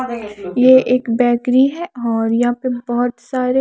ये एक बेकरी है और यहा पे बोहोत सारे --